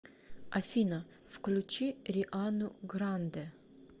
афина включи риану грандэ